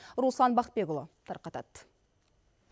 руслан бақытбекұлы тарқатады